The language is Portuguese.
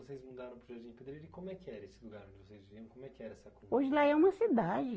E vocês mudaram para o Jardim Pedreira, e como é que era esse lugar onde vocês viveram, como é que era? Hoje lá é uma cidade